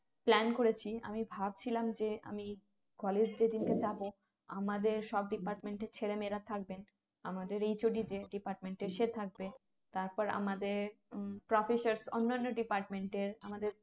Plan করেছি আমি ভাবছিলাম যে আমি college যেদিনকে যাবো আমাদের সব Deparment এর ছেলে মেয়েরা থাকবেন আমাদের HOD তে Deparment এর সে থাকবে তারপর আমাদের উম Professor অন্য অন্য department এর আমাদের